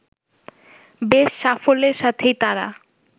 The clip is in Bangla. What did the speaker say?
বেশ সাফল্যের সাথেই তারা